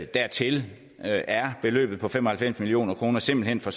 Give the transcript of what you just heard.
dertil er beløbet på fem og halvfems million kroner simpelt hen for